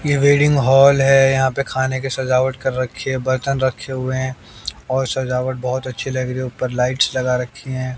ये wedding hall हैं। यहां पर खाने की सजावट कर रखी है बर्तन रखे हुए हैं और सजावट बहोत अच्छी लग रही है। ऊपर लाइट्स लगा रखी है।